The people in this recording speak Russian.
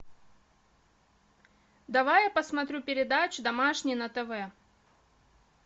давай я посмотрю передачу домашний на тв